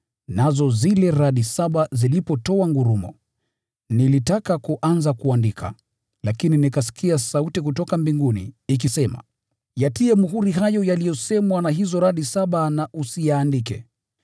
Nazo zile radi saba zilipotoa ngurumo, nilitaka kuanza kuandika, lakini nikasikia sauti kutoka mbinguni ikisema, “Yatie muhuri hayo yaliyosemwa na hizo radi saba na usiyaandike.”